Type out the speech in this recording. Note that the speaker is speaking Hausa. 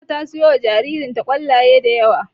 Fatima ta siyowa jaririnta ƙwallaye da yawa.